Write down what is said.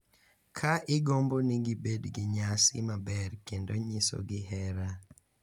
Ka igombo ni gibed gi nyasi maber kendo nyisogi hera.